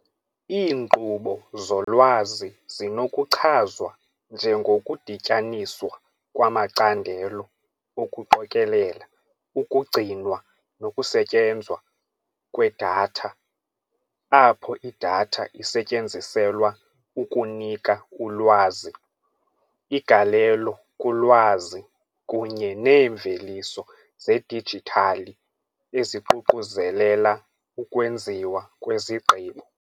Iinkqubo zolwazi zinokuchazwa njengokudityaniswa kwamacandelo okuqokelela, ukugcinwa nokusetyenzwa kwedatha apho idatha isetyenziselwa ukunika ulwazi, igalelo kulwazi kunye neemveliso zedijithali eziququzelela ukwenziwa kwezigqibo .